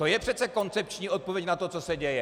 To je přece koncepční odpověď na to, co se děje.